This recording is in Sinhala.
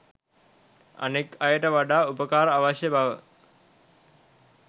අනෙක් අයට වඩා උපකාර අවශ්‍ය බව